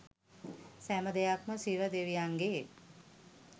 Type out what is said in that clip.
සෑම දෙයක්ම ශිව දේවියන්ගේ